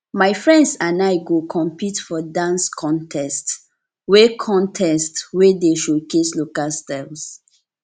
my friends and i go compete for dance contest wey contest wey dey showcase local styles